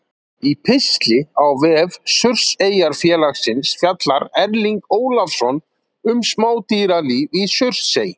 Í pistli á vef Surtseyjarfélagsins fjallar Erling Ólafsson um smádýralíf í Surtsey.